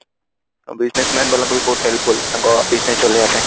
business ବାଲାଙ୍କୁ ବି ବହୁତ helpful ତାଙ୍କ business ଚଲେଇବା ପାଇଁ